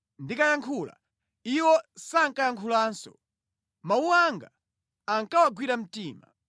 Ndikayankhula, iwo sankayankhulanso; mawu anga ankawagwira mtima.